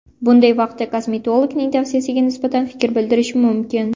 Bunday vaqtda kosmetologning tavsiyasiga nisbatan fikr bildirish mumkin.